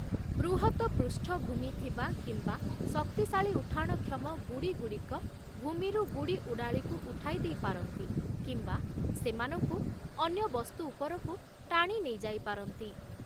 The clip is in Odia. ବୃହତ ପୃଷ୍ଠଭୂମି ଥିବା କିମ୍ବା ଶକ୍ତିଶାଳୀ ଉଠାଣକ୍ଷମ ଗୁଡ଼ିଗୁଡ଼ିକ ଭୂମିରୁ ଗୁଡ଼ି-ଉଡ଼ାଳିକୁ ଉଠାଇ ଦେଇ ପାରନ୍ତି କିମ୍ବା ସେମାନଙ୍କୁ ଅନ୍ୟ ବସ୍ତୁ ଉପରକୁ ଟାଣି ନେଇଯାଇପାରନ୍ତି ।